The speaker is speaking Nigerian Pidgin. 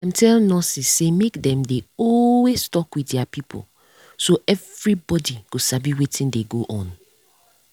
dem tell nurses say make dem dey always talk with their pipo so everybody go sabi wetin dey go on.